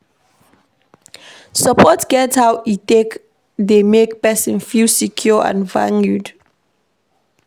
Support get how e take dey make person feel secure and valued